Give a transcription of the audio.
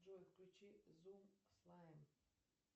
джой включи зум слайм